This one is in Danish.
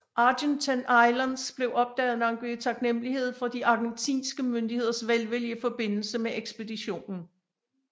Argentine Islands blev opdaget og navngivet i taknemmelighed for de argentinske myndigheders velvilje i forbindelse med ekspeditionen